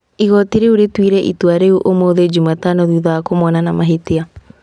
Igoti rĩu rĩrutire itua rĩu ũmũthĩ Jumatano thutha wa kũmona na mahĩtia.